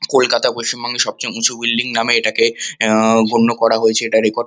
কলকাতা পশ্চিমবঙ্গে সবচেয়ে উঁচু বিল্ডিং নামে এটাকে আহ গণ্য করা হয়েছে। এটার রেকর্ড --